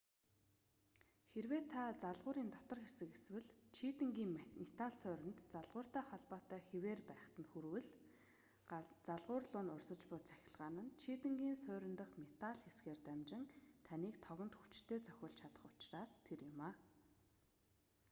хэрэв та залгуурын дотор хэсэг эсвэл чийдэнгийн метал сууринд залгууртай холбоотой хэвээр байхад нь хүрвэл залгуур луу урсаж буй цахилгаан нь чийдэнгийн суурин дахь метал хэсгээр дамжин таныг тогонд хүчтэй цохиулж чадах учраас тэр юм